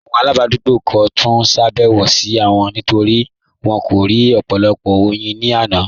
Awọn aladugbo kò túń ṣàbẹwò sí wọn nítorí wọn rí ọpọ̀lọpọ̀ oyin ni àná.